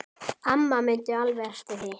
Amma mundi alveg eftir því.